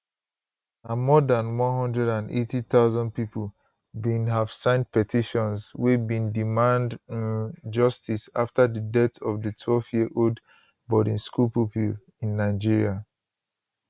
na more dan 180000 pipo bin have sign petitions wey bin demand um justice afta di death of di 12yearold boarding school pupil in nigeria